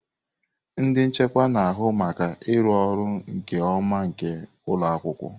Ndị nchịkwa na-ahụ maka ịrụ ọrụ nke ọma nke ụlọ akwụkwọ.